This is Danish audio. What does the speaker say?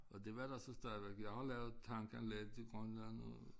Og det var der så stadigvæk jeg har lavet tankanlæg i Grønland og